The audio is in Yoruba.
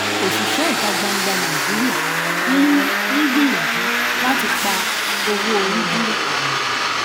òṣìṣẹ ìta gbangba nàìjíríà ń um gbìyànjú láti pa owó orí dúró um